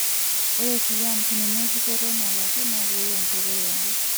Ore kulie ampunini eripoto nalaki naa keyieu enkoitoi yare.